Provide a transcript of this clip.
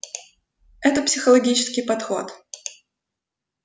это психологический подход